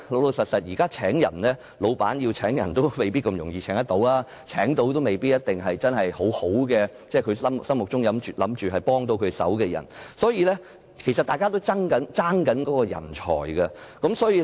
老實說，現時僱主要招聘員工，並不容易，即使能成功聘請員工，也未必是僱主心目中能幫上忙的人，所以其實大家都在爭奪人才。